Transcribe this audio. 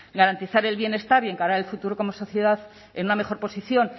garantizar el bienestar y encarar el futuro como sociedad en una mejor posición